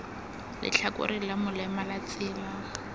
letlhakoreng la molema la tsela